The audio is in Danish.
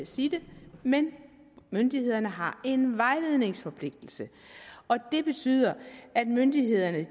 sige det men myndighederne har en vejledningsforpligtelse og det betyder at myndighederne